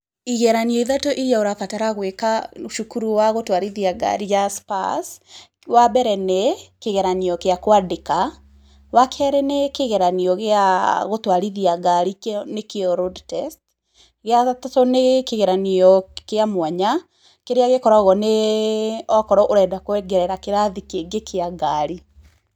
Igeranio ithatũ iria ũrabatara gwĩka cukuru wa gũtwarithia ngari ya Spurs, wambere nĩ kĩgeranio kia kwandĩka, wakeerĩ nĩ kĩgeranio gĩa gũtwarithia ngari nĩkĩo road test, gĩa gatatũ nĩ kĩgeranio kĩa mwanya, kĩrĩa gĩkoragũo nĩ okorwo ũrenda kwongerera kĩrathi kĩngĩ kĩa ngari.